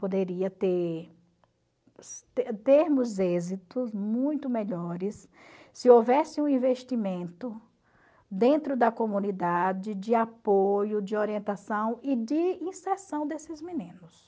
Poderia ter ter termos êxitos muito melhores se houvesse um investimento dentro da comunidade de apoio, de orientação e de inserção desses meninos.